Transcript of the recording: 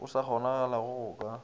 go sa kgonagalego go ka